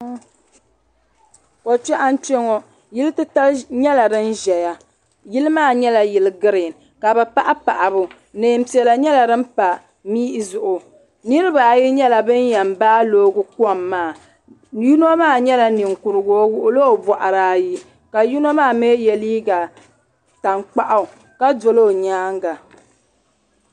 ko kpɛɣu n kpɛ ŋɔ yili titali myɛla din ʒɛya yili maa nyɛla yili geriin ka bi paɣi paɣibu nɛɛnpiɛla nyɛla din pa mihi zuɣu niriba ayi nyɛla banyɛn baa yaɣi kom maa yino maa nyɛla ninkurugu o wuɣila o boɣari ayi ka yino maa mi ye liga tankpaɣu ka doli o nyaan ga.